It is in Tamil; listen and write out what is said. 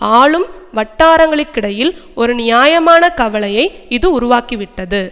ஆளும் வட்டாரங்களுக்கிடையில் ஒரு நியாயமான கவலையை இது உருவாக்கிவிட்டது